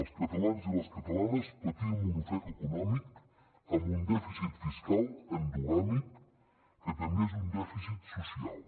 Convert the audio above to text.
els catalans i les catalanes patim un ofec econòmic amb un dèficit fiscal endogàmic que també és un dèficit social